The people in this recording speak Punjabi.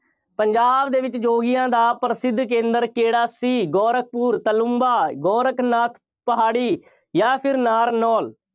ਪੰਜਾਬ ਦੇ ਵਿੱਚ ਯੋਗੀਆਂ ਦਾ ਪ੍ਰਸਿੱਧ ਕੇਂਦਰ ਕਿਹੜਾ ਸੀ? ਗੋਰਖਪੁਰ, ਤਾਲੁੰਬਾ, ਗੋਰਖਨਾਥ ਪਹਾੜੀ ਜਾਂ ਫਿਰ ਨਾਰਨੌਲ।